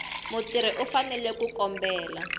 mutirhi u fanele ku kombela